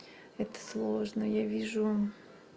это сложно я вижу